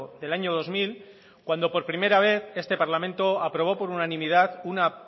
del año dos mil cuando por primera vez este parlamento aprobó por unanimidad una